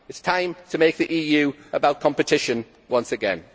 It is time to make the EU about competition once again.